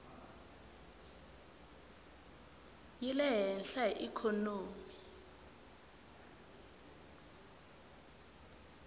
yi le hehla hi ikhonomi